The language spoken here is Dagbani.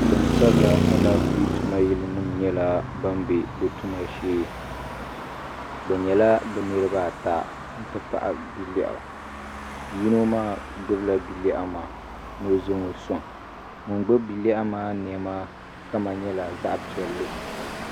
gbasabila alaniƒɛ tuma nim bɛla be tuma shɛɛ bɛ nyɛla be niribaata n ti pahi bialɛɣ' yino maa gbala bia lɛɣigu maa no zaŋɔ soŋ ŋɔ gbabi bia lɛɣigu maa nɛma kam nyɛla zaɣ piɛli